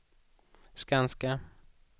Skanska